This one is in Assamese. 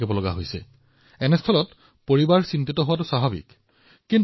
সেয়েহে এইটো এক নিজেই জীৱনৰ বাবে বিপদাপন্ন ঘটনা পৰিয়ালৰ লোকে চিন্তা কৰাটো অতি স্বাভাৱিক